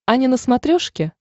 ани на смотрешке